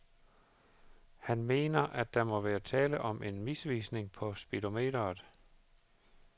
Han mener, at der må være tale om en misvisning på speedometret.